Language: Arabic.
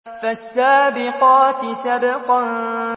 فَالسَّابِقَاتِ سَبْقًا